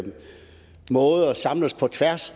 måder samles på tværs